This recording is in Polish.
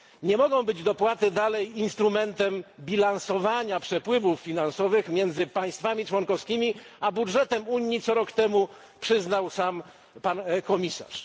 Nie mogą być dopłaty dalej instrumentem bilansowania przepływów finansowych między państwami członkowskimi a budżetem Unii, co rok temu przyznał sam komisarz.